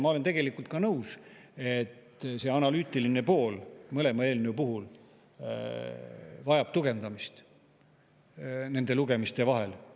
Ma olen tegelikult nõus, et see analüütiline pool mõlema eelnõu puhul vajab tugevdamist nende lugemiste vahel.